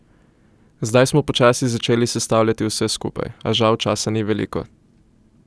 Zdaj smo počasi začeli sestavljati vse skupaj, a žal časa ni veliko.